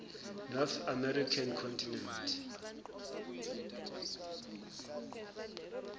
north american continent